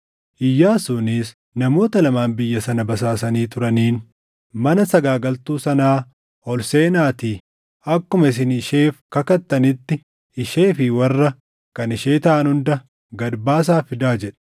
Iyyaasuunis namoota lamaan biyya sana basaasanii turaniin, “Mana sagaagaltuu sanaa ol seenaatii akkuma isin isheef kakattanitti ishee fi warra kan ishee taʼan hunda gad baasaa fidaa” jedhe.